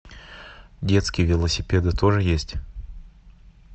детские велосипеды тоже есть